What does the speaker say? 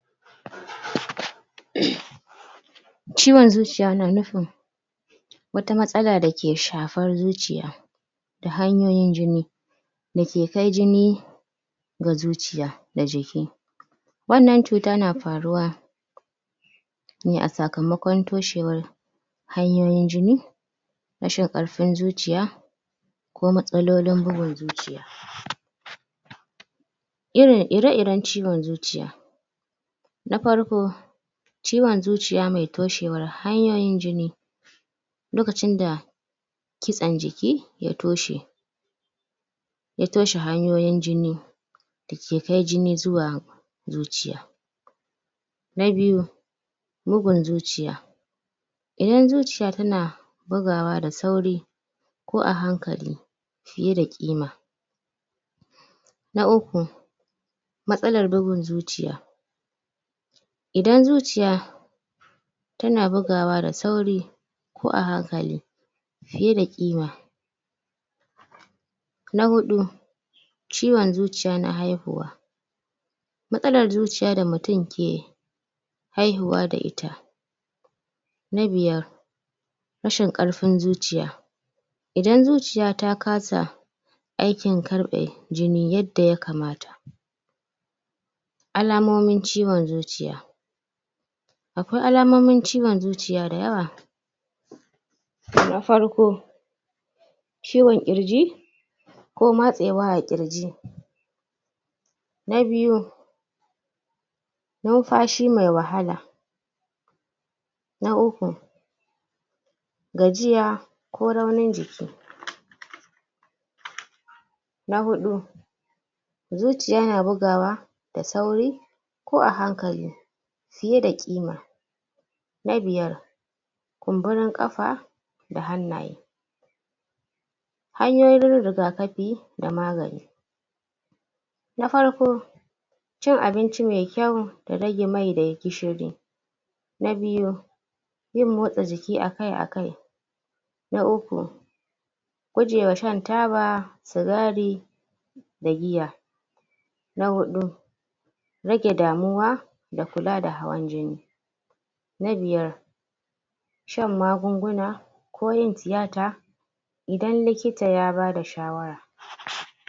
um Ciwon zuciya na nufin wata matsala da ke shafar zuciya da hanyoyin jini da ke kai jini ga zuciya da jiki, wannan cuta na faruwa ne a sakamakon toshewar hanyoyin jini rashin ƙarfin zuciya ko matsalolin bugun zuciya. Irin ire-iren ciwon zuciya na parko, ciwon zuciya mai toshewar hanyoyin jini lokacin da kitsan jiki ya toshe ya toshe hanyoyin jini da ke kai jini zuwa zuciya. Na biyu, bugun zuciya idan zuciya tana bugawa da sauri ko a hankali piye da ƙima. Na uku matsalar bugun zuciya, idan zuciya tana bugawa da sauri ko a hankali fiye da ƙima. Na huɗu ciwon zuciya na haihuwa, matsalar zuciya da mutum ke haihuwa da ita. Na biyar rashin ƙarfin zuciya, idan zuciya ta kasa aikin karɓe jini yadda ya kamata. Alamomin ciwon zuciya; akwai alamomin ciwon zuciya da yawa na farko, ciwon ƙirji, ko matsewa a ƙirji. Na biyu ninfashi mai wahala. Na uku, gajiya ko raunin jiki. Na huɗu, zuciya na bugawa da sauri ko a hankali piye da ƙima. Na biyar, kumburin ƙafa da hannaye. Hanyoyin rigakapi da magani na parko, cin abinci mai kyau da rage mai da gishiri. Na biyu, yin motsa jiki akai-akai. Na uku, gujewa shan taba, sigari da giya. Na huɗu, rage damuwa da kula da hawan jini. Na biyar, shan magunguna ko yin tiyata idan likita ya bada shawara.